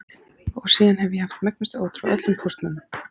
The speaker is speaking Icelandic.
Síðan hef ég haft megnustu ótrú á öllum póstmönnum.